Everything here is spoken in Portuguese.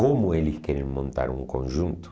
Como eles querem montar um conjunto?